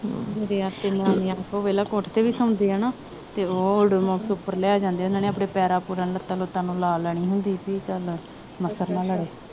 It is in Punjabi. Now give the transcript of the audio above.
ਮੇਰੇ ਆਪਦੇ ਨਿਆਣੇ ਨਾ ਉਹ ਵੇਖਲਾ ਕੋਠੇ ਤੇ ਵੀ ਸੌਂਦੇ ਆ ਨਾ ਉਹ ਓਡੂਮਸ ਉੱਪਰ ਲੈ ਜਾਂਦੇ ਉਹਨਾਂ ਨੇ ਆਪਣੇ ਪੈਰਾਂ ਪੂਰਾ ਨੂੰ ਲੱਤਾਂ ਲੁੱਟਾਂ ਨੂੰ ਲਾ ਲੈਣੀ ਹੁੰਦੀ ਸੀ ਚੱਲ ਮੱਛਰ ਨਾ ਲੜੇ